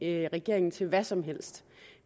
regeringen til hvad som helst